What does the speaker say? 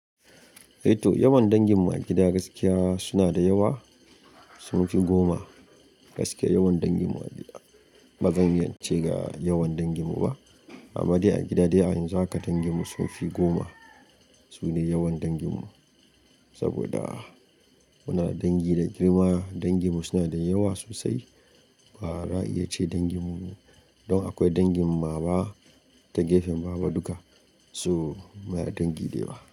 Eh to, yawan dangin mu a gida gaskiya suna da yawa, sun fi goma. Gaskiya yawan dangin mu a gida. Ba zan iya cewa ga yawan dangin mu ba amma dai a gida dai a yanzu haka dangin mu sun fi goma. Sune yawan dangin mu saboda muna da dangi da girma. Dangin mu suna da yawa sosai. Bara'a iya ce dangin mu don akwai dangin mama da gefen baba duka so mu na da dangi da yawa.